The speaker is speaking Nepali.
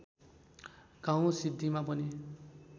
गाउँ सिद्धिमा पनि